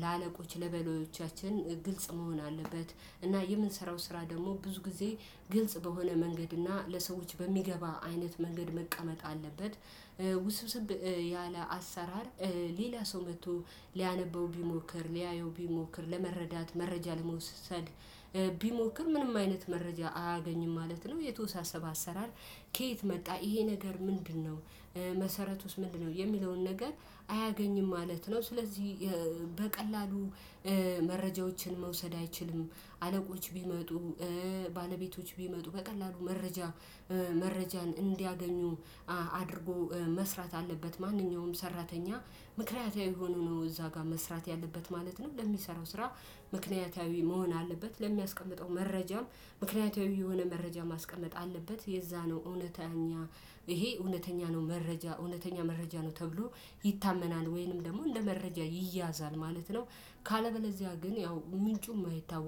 ለአለቆች ለበላዮቻችን ግልጽ መሆን አለበት። እና የምንሰራው ስራ ደግሞ ብዙ ጊዜ ግልጽ በሆነ መንገድ እና ለሰዎች በሚገባ አይነት መንገድ መቀመጥ አለበት። ውስብስብ ያለ አሰራር ሌላ ሰው መጥቶ ሊያነበው ቢሞክር ሊያየው ቢሞክር ለመረዳት መረጃ ለመውሰድ ቢሞክር ምንም አይነት መረጃ አያገኝም ማለት ነው። የተወሳሰበ አሰራር ከየት መጣ ይሄ ነገር ምንድነው? መሰረቱስ ምንድነው የሚለውን ነገር አያገኝም ማለት ነው። ስለዚህ በቀላሉ መረጃዎችን መውሰድ አይችልም። አለቆች ቢመጡ ባለቤቶች ቢመጡ በቀላሉ መረጃ መረጃን እንዲያገኙ አድርጎ መስራት አለበት። ማንኛውም ሰራተኛ ምክንያታዊ ሆኖ ነው እዛ ጋር መስራት ያለበት ማለት ነው። ለሚሰራው ስራ ምክንያታዊ መሆን አለበት። ለሚያስቀምጠው መረጃም ምክንያታዊ የሆነ መረጃ ማስቀመጥ አለበት። የዛ ነው እውነተኛ ይሄ እውነተኛ ነው መረጃ እውነተኛ መረጃ ነው ተብሎ ይታመናል ወይንም ደግሞ እንደመረጃ ይያዛል ማለት ነው። ካለበለዚያ ግን ያው ምንጩ የማይታወቅ